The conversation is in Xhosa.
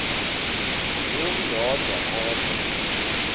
ndim ndodwa kodwa